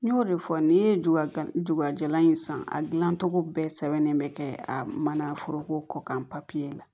N y'o de fɔ ni ye jogojalan in san a gilan cogo bɛɛ sɛbɛnnen bɛ kɛ a mana foroko kɔkan papiye la